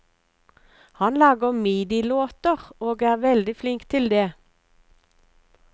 Han lager midilåter og er veldig flink til det.